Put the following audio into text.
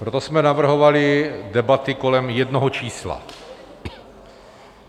Proto jsme navrhovali debaty kolem jednoho čísla.